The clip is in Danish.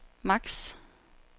max